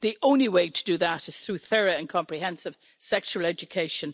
The only way to do that is through thorough and comprehensive sexual education.